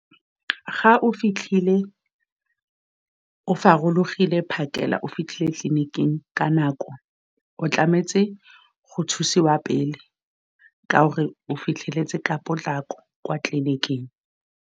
Ga o fitlhile, o gorogile phakela. O fitlhile tleliniking ka nako. O tlamehile go thusiwa pele ka gore o fitlheletse ka potlako kwa tleliniking.